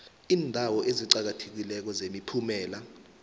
iindawo eziqakathekileko zemiphumela